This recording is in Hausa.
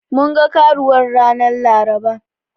Mun ga Karuwar ranar Laraba.